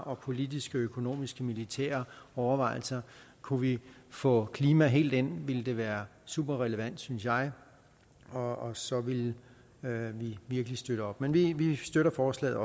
og politiske og økonomiske og militære overvejelser kunne vi få klima helt ind ville det være super relevant synes jeg og så ville vi virkelig støtte op men vi støtter forslaget